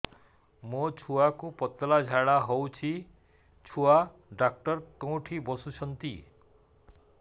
ମୋ ଛୁଆକୁ ପତଳା ଝାଡ଼ା ହେଉଛି ଛୁଆ ଡକ୍ଟର କେଉଁଠି ବସୁଛନ୍ତି